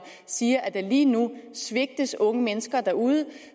siger at der lige nu svigtes unge mennesker derude